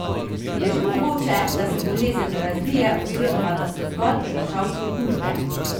Je še mogoče, da se bolezen razvije oziroma da so zgolj prenašalci okužbe?